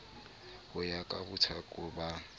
ho ya ka bothaka ba